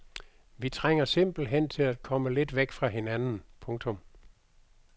Vi trænger simpelthen til at komme lidt væk fra hinanden. punktum